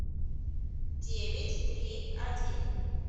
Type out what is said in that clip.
девять три один